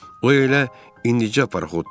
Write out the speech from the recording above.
O elə indicə paraxotdan düşmüşdü.